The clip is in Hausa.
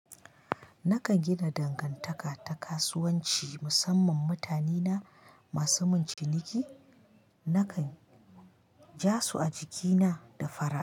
Nakan gina dangantaka ta kasuwanci musamman mutane na masu mun ciniki, nakan ja su a jikina da fara'a.